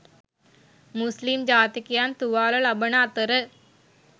මුස්ලිම් ජාතිකයන් තුවාල ලබන අතර